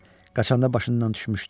Qaçanda başından düşmüşdü.